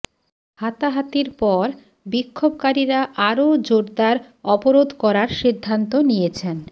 হাতাহাতির পর বিক্ষোভকারীরা আরও জোরদার অবরোধ করার সিদ্ধান্ত নিয়েছেন